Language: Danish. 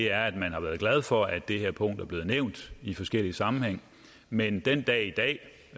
er at man har været glad for at det her punkt er blevet nævnt i forskellige sammenhænge men den dag i dag